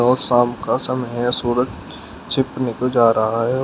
और शाम का समय है सूरज छिपने को जा रहा हैं।